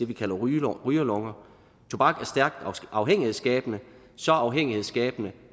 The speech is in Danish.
vi kalder rygerlunger rygerlunger tobak er stærkt afhængighedsskabende så afhængighedsskabende